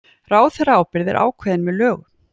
Ráðherraábyrgð er ákveðin með lögum